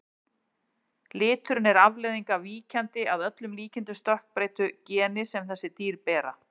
Liturinn er afleiðing af víkjandi, að öllum líkindum stökkbreyttu, geni sem þessi dýr bera.